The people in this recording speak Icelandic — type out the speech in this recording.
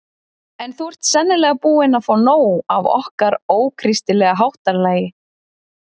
En þú ert sennilega búinn að fá nóg af okkar ókristilega háttalagi.